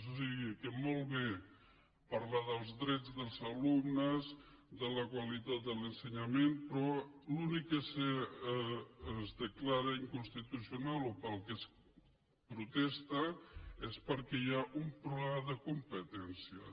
o sigui que molt bé parlar dels drets dels alumnes de la qualitat de l’ensenyament però l’únic que es declara inconstitucional o pel que es protesta és perquè hi ha un problema de competències